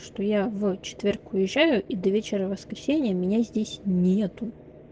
что я в четверг уезжаю и до вечера воскресенья меня здесь нету